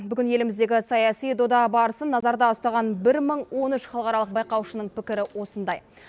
бүгін еліміздегі саяси дода барысын назарда ұстаған бір мың он үш халықаралық байқаушының пікірі осындай